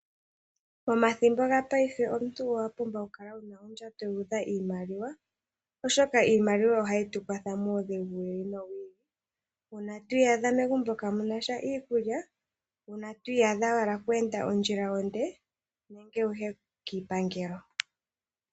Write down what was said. Pomathimbo go paife omuntu owapumbwa okukala wuna ondjato yuudha iimaliwa oshoka ,iimaliwa ohayi tu kwatha momaudhigu gi ili nogi ili una twiiyadha megumbo kamuna iikulya ,una twiiyadha wuna okweende ondjila onde nenge wuye kiipangelo.